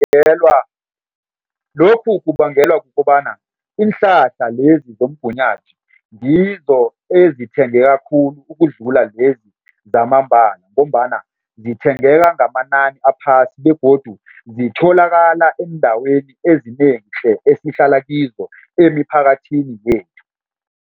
Lokhu kubangelwa kukobana iinhlahla lezi zomgunyathi ngizo ezithengeka khulu ukudlula lezi zamambala ngombana zithengeka ngamanani aphasi begodu zitholakala eendaweni ezinengi tle esihlala kizo emiphakathini yethu.